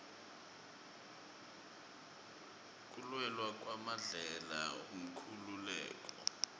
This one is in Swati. kulwela kwamandela inkhululeko